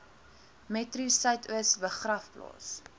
metro suidoos begraafplaas